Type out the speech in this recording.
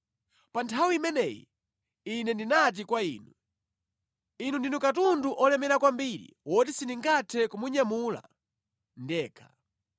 Pa nthawi imeneyi ine ndinati kwa inu, “Inu ndinu katundu olemera kwambiri woti sindingathe kumunyamula ndekha.